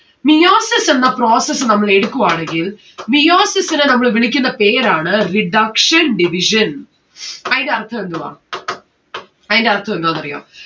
meiosis എന്ന process നമ്മൾ എടുക്കുവാണെങ്കിൽ meiosis നെ നമ്മൾ വിളിക്കുന്ന പേരാണ് reduction division അയിന്റെ അർഥം എന്തുവാ അയിന്റെ അർഥം എന്തുവാന്ന്‌ അറിയോ